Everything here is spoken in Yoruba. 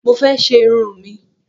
Mo fẹ́ ṣe irun mi